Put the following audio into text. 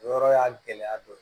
O yɔrɔ y'a gɛlɛya dɔ ye